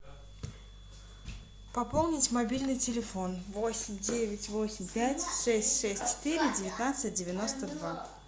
пополнить мобильный телефон восемь девять восемь пять шесть шесть четыре девятнадцать девяносто два